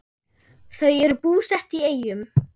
Þau eru búsett í Eyjum.